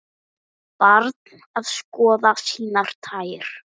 Barn að skoða sínar tær.